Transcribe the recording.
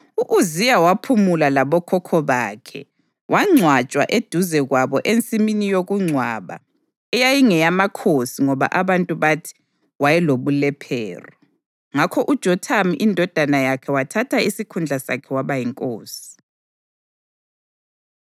U-Uziya waphumula labokhokho bakhe wangcwatshwa eduze kwabo ensimini yokungcwaba eyayingeyamakhosi ngoba abantu bathi, “Wayelobulephero.” Ngakho uJothamu indodana yakhe wathatha isikhundla sakhe waba yinkosi.